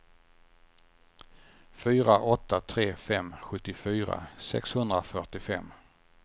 fyra åtta tre fem sjuttiofyra sexhundrafyrtiofem